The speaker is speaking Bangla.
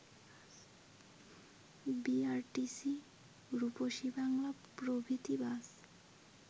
বিআরটিসি, রূপসী বাংলা প্রভৃতি বাস